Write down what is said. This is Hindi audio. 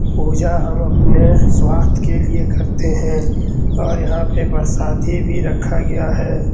पूजा हम अपने स्वास्त के लिए करते हैं और यहाँ पे प्रसादी भी रखा गया है।